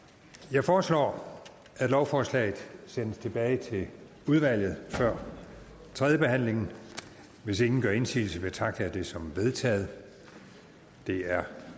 jeg foreslår at lovforslaget sendes tilbage til udvalget før tredje behandling hvis ingen gør indsigelse betragter jeg det som vedtaget det er